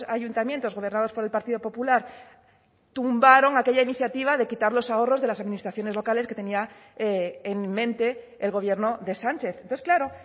ayuntamientos gobernados por el partido popular tumbaron aquella iniciativa de quitar los ahorros de las administraciones locales que tenía en mente el gobierno de sánchez entonces claro